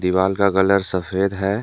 दीवाल का कलर सफेद है।